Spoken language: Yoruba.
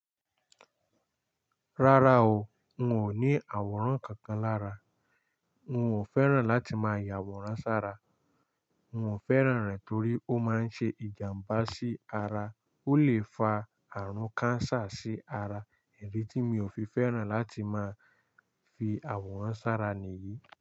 Rárá o, n ò ní àwòrán kankan lára. N ò fẹ́ràn láti máa ya àwòrán sára. N ò fẹ́ràn rẹ̀ torí ó máa ń ṣe ìjàmbá sí ara, ó lè fa àrùn cancer sí ara. Idi tí mi ò fi fẹ́ràn láti máa fi àwòrán sára nìyí.